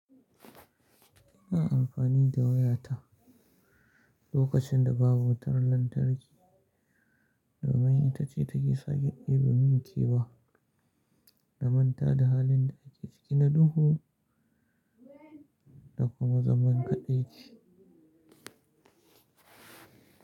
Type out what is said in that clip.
Ina amfani da waya ta lokacin da babu wutar lantarki domin ita ce take sake ɗebi min kewa na manta da halin da ake ciki na duhu da kuma zaman kaɗaici.